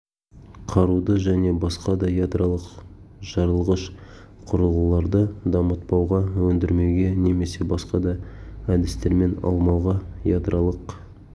қаруды және басқа да ядролық жарылғыш құрылғыларды дамытпауға өндірмеуге немесе басқа да әдістермен алмауға ядролық